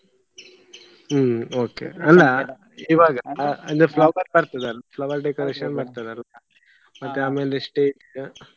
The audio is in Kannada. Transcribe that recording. ಹ್ಮ್ okay ಅಲ್ಲ ಇವಾಗ ಅಂದ್ರೆ flower ಬರ್ತದಲ್ವ flower decoration ಬರ್ತದಲ್ವ ಆಮೇಲೆ stage .